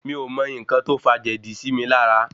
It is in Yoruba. Mi ò mọ n̄ńkan tó fà jèdí sí mi lára.